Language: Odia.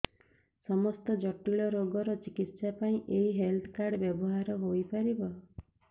ସମସ୍ତ ଜଟିଳ ରୋଗର ଚିକିତ୍ସା ପାଇଁ ଏହି ହେଲ୍ଥ କାର୍ଡ ବ୍ୟବହାର ହୋଇପାରିବ